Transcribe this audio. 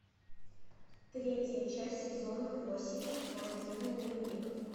третья часть сезона восемь мой безумный дневник